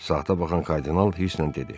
Saata baxan kardinal hiddətlə dedi: